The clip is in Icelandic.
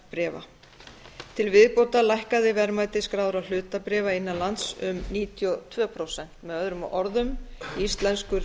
verðbréfa til viðbótar lækkaði verðmæti skráðra hlutabréfa innan lands um níutíu og tvö prósent með öðrum orðum íslenskur